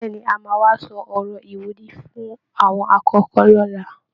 Bẹ́ẹ̀ ni, A máa wá sọ ọ̀rọ̀ ìwúrí fún àwọn akọ́kọ̀ọ́ lọ́la